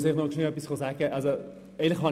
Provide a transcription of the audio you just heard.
Ich muss einfach noch kurz etwas dazu sagen.